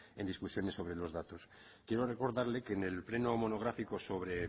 en discusiones sobre los datos quiero recordarle que en el pleno monográfico sobre